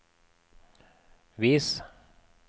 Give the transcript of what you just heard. vis